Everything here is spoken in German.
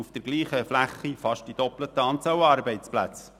Sie hatte auf derselben Fläche fast die doppelte Anzahl Arbeitsplätze.